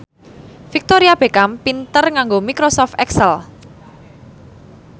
Victoria Beckham pinter nganggo microsoft excel